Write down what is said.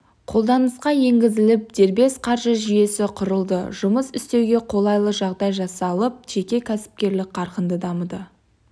қолданысқа енгізіліп дербес қаржы жүйесі құрылды жұмыс істеуге қолайлы жағдай жасалып жеке кәсіпкерлік қарқынды дамыды